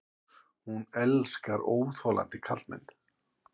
Hún elskar óþolandi karlmenn.